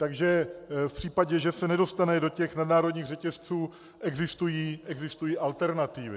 Takže v případě, že se nedostane do těch nadnárodních řetězců, existují alternativy.